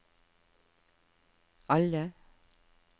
alle